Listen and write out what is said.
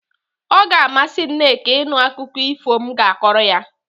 O ga-amasị Nneka ịnụ akụkọ efu m ga-akọrọ ya.